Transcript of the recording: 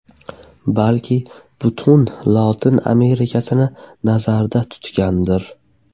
Balki butun Lotin Amerikasini nazarda tutgandir.